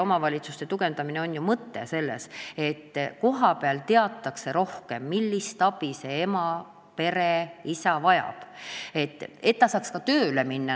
Omavalitsuste tugevdamise mõte on ju selles, et kohapeal teatakse rohkem, millist abi üks või teine ema või isa vajab, et ta saaks ka tööle minna.